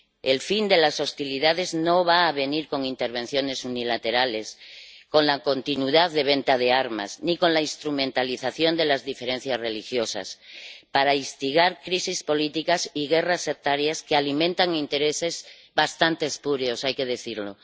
El fin de las hostilidades no va a venir con intervenciones unilaterales, con la continuidad de la venta de armas ni con la instrumentalización de las diferencias religiosas para instigar crisis políticas y guerras sectarias que alimentan intereses bastante espurios, hay que decirlo.